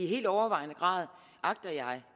helt overvejende